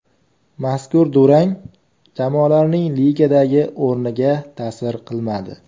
Mazkur durang jamoalarning ligadagi o‘rniga ta’sir qilmadi.